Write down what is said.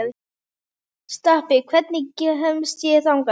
Stapi, hvernig kemst ég þangað?